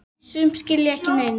Sum skila ekki neinu.